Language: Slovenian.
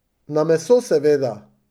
Na meso seveda.